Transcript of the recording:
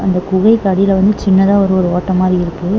அந்த குகைகு அடில வந்து சின்னதா ஒரு ஒரு ஓட்ட மாரி இருக்கு.